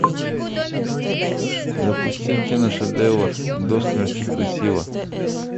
запусти киношедевр до смерти красиво